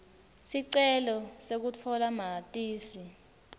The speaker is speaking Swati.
sicelo sekutfola matisi